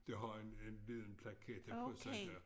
Det har en en lille paklette på sådan her